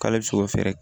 K'ale bɛ se k'o fɛɛrɛ